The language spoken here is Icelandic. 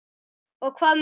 Og hvað með það!